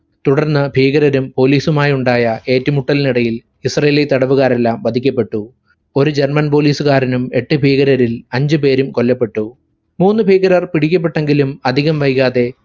തുടർന്ന് ഭീകരരും police ഉമായി ഉണ്ടായ ഏറ്റുമുട്ടലിനിടയിൽ israeli തടവുകാരെല്ലാം വധിക്കപ്പെട്ടു. ഒരു german police കാരനും എട്ടു ഭീകരരിൽ അഞ്ചുപേരും കൊല്ലപ്പെട്ടു. മൂന്നുഭീകരർ പിടിക്കപ്പെട്ടെങ്കിലും അധികം വൈകാതെ